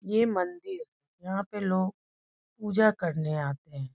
ये मंदिर यहाँ पे लोग पूजा करने आते हैं |